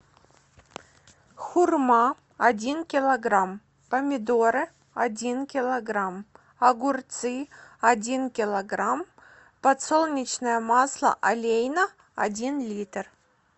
хурма один килограмм помидоры один килограмм огурцы один килограмм подсолнечное масло олейна один литр